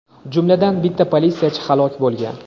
jumladan bitta politsiyachi halok bo‘lgan.